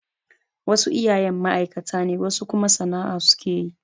Wasu iyayen ma'aikata ne wasu kuma sana'a su ke yi.